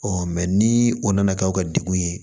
ni o nana kɛ aw ka degun ye